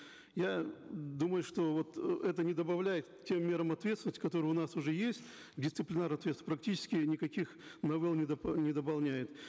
я думаю что вот это не добавляет тем мерам ответственности которые у нас уже есть дисциплинарной ответственности практически никаких новелл не не дополняет